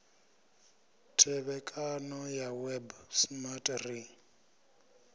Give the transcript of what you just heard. thevhekano ya web smart ri